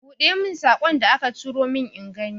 Buɗe mun saƙon da aka turo min ingani.